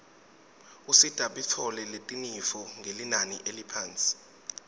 usita bitfoletinifo ngelinani leliphasi